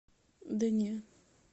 да не